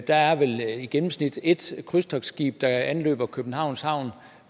der er vel i gennemsnit et krydstogtsskib der anløber københavns havn